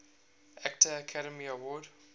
actor academy award